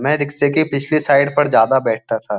मैं रिक्शे की पिछली साइड पर ज्यादा बैठता था।